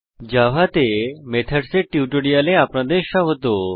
Java তে methods এর টিউটোরিয়ালে আপনাদের স্বাগত